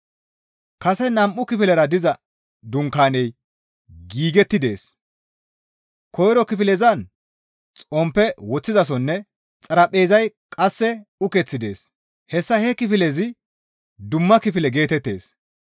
Kase nam7u kifilera diza dunkaaney giigetti dees; koyro kifilezan xomppe woththizasoynne xaraphpheezay qasse ukeththi dees; hessa he kifilezi dumma kifile geetettees.